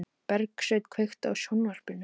Bergsveinn, kveiktu á sjónvarpinu.